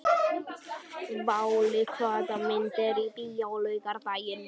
Váli, hvaða myndir eru í bíó á laugardaginn?